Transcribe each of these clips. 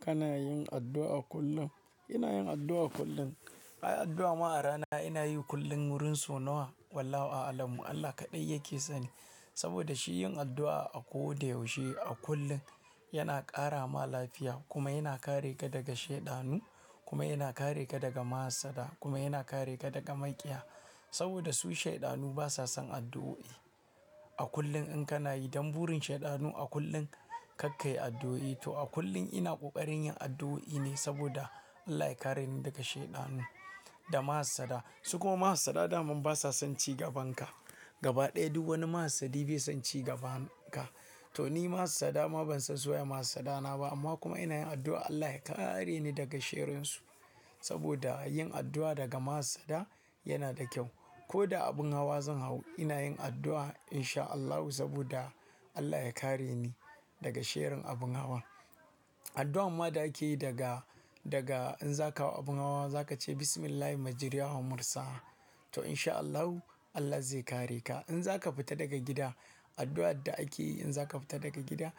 Kana yin addu'a kullum? Ina yin addu'a kullum. Ai addu'a ma a rana ina yi kullum wurin sau nawa? Wallahu a'alam. Allah kaɗai yake sani. Saboda shi yin addu'a a ko da yaushe a kullum yana ƙara ma lafiya kuma yana kare ka daga shaiɗanu kuma yana kare ka daga ma'asada kuma yana kare ka daga maiƙiya. Saboda su shaiɗanu basa son addu'o'i. A kullum in kana yi, dan burin shaiɗanu a kullum karkayi addu'o'i. To a kullum ina ƙoƙarin yin addu'o'i ne saboda Allah ya kareni daga shaiɗanu da ma'asada. Su kuma ma'hassada dama basa son ci gabanka. Gaba ɗaya duk wani ma'hassadi bai son ci gaban ka. To ni ma'hassada ma ban son suwa ma'hassada na ba. Amma kuma ina yin addu'a Allah ya kareni daga shirinsu. Saboda yin addu'a daga ma'asada yana da kyau. Ko da abin hawa zan hau ina yin addu'a in sha Allahu saboda Allah ya kareni daga sharrin abin hawan. Addu'a ma da ake yi daga, daga in zaka hau abin hawa za ka ce "Bismillahi majareha wa mursaha". To in sha Allahu Allah zai kare ka. In zaka fita daga gida, addu'ar da ake yi in zaka fita daga gida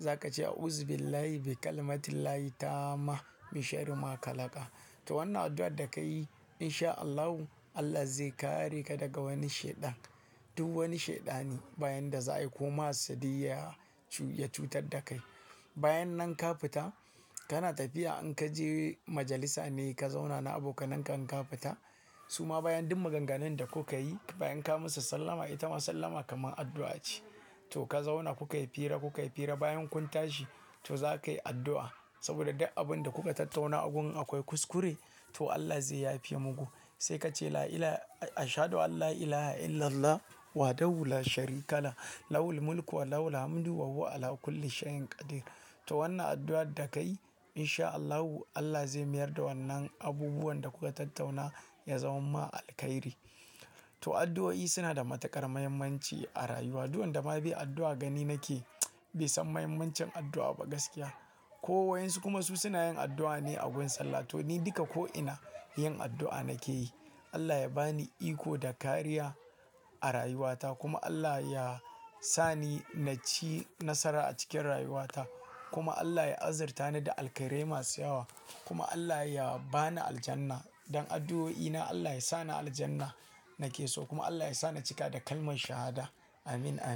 za ka ce "A'uzu billahi bi kalmatillahi tama min sharrima kalaka". To wannan addu'ar da ka yi in sha Allahu Allah zai kare ka daga wani shaiɗan. Duk wani shaiɗani bayan da za'a yi ko ma'hassadi ya cu ya cutar da kai. Bayan nan ka fita, kana tafiya in ka je majalisa ne ka zauna na abokananka in ka fita, su ma bayan duk maganganun da kuka yi bayan ka musu sallama ita ma sallama kamar addu'a ce. To ka zauna kukayi fira kukayi fira bayan kun tashi to za ka yi addu'a. Saboda duk abun da kuka tattauna a gun akwai kuskure to Allah zai yafe muku. Sai ka ce "La ila-- ashadu alla ilaaha illallah wahdahu la sharika lah. Lahul mulku wa lahul hamdu wa huwa ala kulli shai'in qadir". To wannan addu'ar da ka yi, in sha Allahu Allah zai mayar da wannan abubuwan da kuka tattauna ya zama ma alkairi. To addu'o'i suna da matuƙar muhimmanci a rayuwa. Duk wanda ma bai addu'a gani nake bai san muhimmancin addu'a ba gaskiya. Ko wayan su kuma su suna yin addu'a ne a gun sallah. To ni duka ko ina yin addu'a nake yi. Allah ya ba ni iko da kariya a rayuwata kuma Allah ya sa ni na ci nasara a cikin rayuwata. Kuma Allah ya azurta ni da alkairai masu yawa. Kuma Allah ya ba ni aljanna. Dan addu'o'i na Allah ya sa ni aljanna nake so, kuma Allah ya sa ni cika da kalman shahada. Amin, amin.